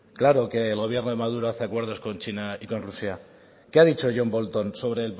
claro que el gobierno de maduro hace acuerdos con china y con rusia qué ha dicho john bolton